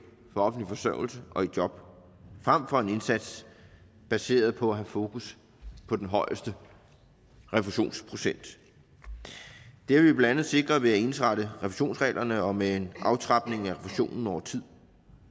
fra offentlig forsørgelse og i job frem for en indsats baseret på at have fokus på den højeste refusionsprocent det har vi blandt andet sikret ved at ensrette refusionsreglerne og med en aftrapning af refusionen over tid